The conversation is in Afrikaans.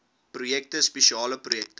projekte spesiale projekte